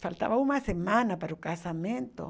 Faltava uma semana para o casamento.